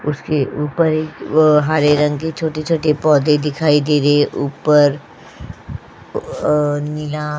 उसके ऊपर एक आ हरे रंग के छोटे-छोटे पौधे दिखाई दे रहे है ऊपर आ नीला और --